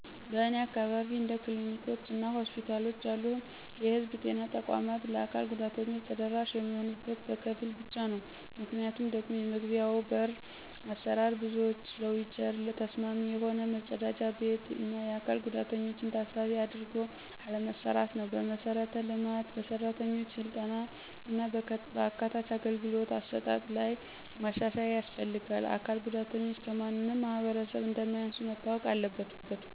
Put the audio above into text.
በእኔ አካባቢ እንደ ክሊኒኮች እና ሆስፒታሎች ያሉ የህዝብ ጤና ተቋማት ለአካል ጉዳተኞች ተደራሽ የሚሆኑት በከፊል ብቻ ነው። ምክንያቱም ደግሞ የመግቢያዎ በሮች አሰራር፣ ብዙዎች ለዊልቸር ተስማሚ የሆነ፣ መጸዳጃ ቤት፣ እና የአካል ጉዳተኞችን ታሳቢ አድርጎ አለመሰራትነው። በመሠረተ ልማት፣ በሠራተኞች ሥልጠና እና በአካታች አገልግሎት አሰጣጥ ላይ መሻሻያ ያስፈልጋል። አካል ጉዳተኞች ከማንም ማህበረሰብ እንማያንሱ መታወቅ አለበት።